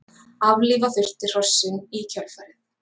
Aflífa þurfti hrossin í kjölfarið